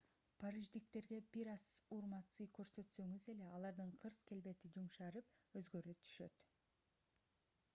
париждиктерге бир аз урмат-сый көрсөтсөңүз эле алардын кырс келбети жумшарып өзгөрө түшүшөт